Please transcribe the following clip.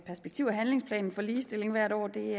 perspektiv og handlingsplanen for ligestilling hvert år det